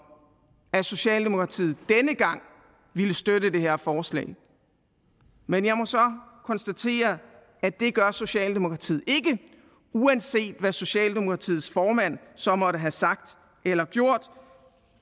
at socialdemokratiet denne gang ville støtte det her forslag men jeg må så konstatere at det gør socialdemokratiet ikke uanset hvad socialdemokratiets formand så måtte have sagt eller gjort